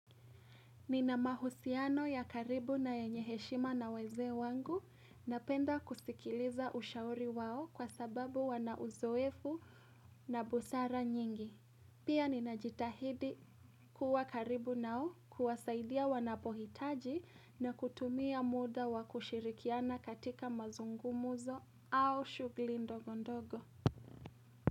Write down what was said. Nina mahusiano ya karibu na yenye heshima na wazee wangu, napenda kusikiliza ushauri wao kwa sababu wanauzoefu na busara nyingi. Pia ninajitahidi kuwa karibu nao kuwasaidia wanapohitaji na kutumia muda wakushirikiana katika mazungumzo au shughuli ndogondogo.